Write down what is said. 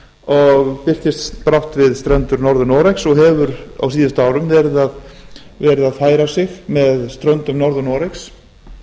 og birtist brátt við strendur norður noregs og hefur á síðustu árum verið að færa sig með ströndum norður noregs